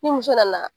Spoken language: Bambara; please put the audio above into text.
Ni muso nana